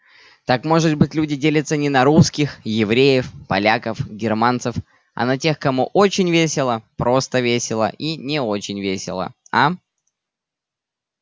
так может быть люди делятся не на русских евреев поляков германцев а на тех кому очень весело просто весело и не очень весело а